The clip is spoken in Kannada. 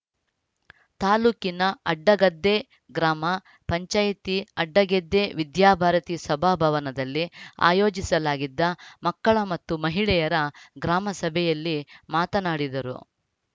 ತಾಲೂಕಿನ ಅಡ್ಡಗದ್ದೆ ಗ್ರಾಮ ಪಂಚಾಯಿತಿ ಅಡ್ಡಗೆದ್ದೆ ವಿದ್ಯಾಭಾರತೀ ಸಭಾಭವನದಲ್ಲಿ ಆಯೋಜಿಸಲಾಗಿದ್ದ ಮಕ್ಕಳ ಮತ್ತು ಮಹಿಳೆಯರ ಗ್ರಾಮಸಭೆಯಲ್ಲಿ ಮಾತನಾಡಿದರು